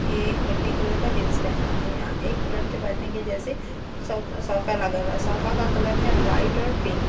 एक मिट्टी कलर का जींस पहना हुआ है यहां एक दुल्हन के बैठने के जैसे सौ सौफे लगे हैं सोफा का कलर है व्हाइट और पिंक यह फ्लावर --